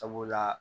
Sabula